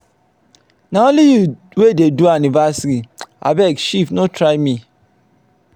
na only you wey dey do anniversary. abeg shift no try me.